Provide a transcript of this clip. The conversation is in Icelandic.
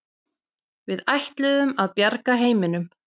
Við ætluðum að bjarga heiminum.